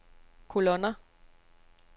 kolonner